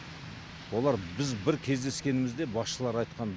олар біз бір кездескенімізде басшылары айтқан